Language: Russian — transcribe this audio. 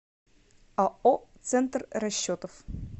ао центр расчетов